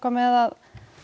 með að